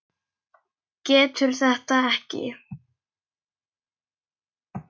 Getur þetta ekki.